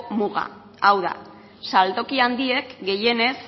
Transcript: muga hau da saltoki handiek gehienez